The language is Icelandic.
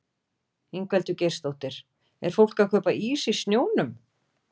Ingveldur Geirsdóttir: Er fólk að kaupa ís í snjónum?